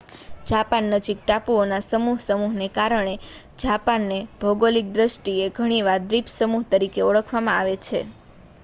Japan નજીક ટાપુઓના સમૂહ/સમૂહને કારણે જાપાનને ભૌગોલિક દૃષ્ટિએ ઘણી વાર 'દ્વીપસમૂહ' તરીકે ઓળખવામાં આવે